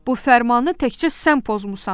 Bu fərmanı təkcə sən pozmusan.